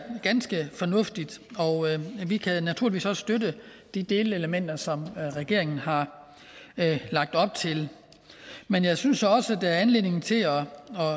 ganske fornuftigt og vi kan naturligvis også støtte de delelementer som regeringen har lagt op til men jeg synes også der er anledning til at